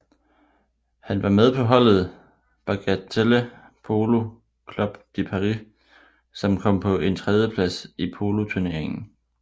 Han var med på holdet Bagatelle Polo Club de Paris som kom på en tredjeplads i poloturneringen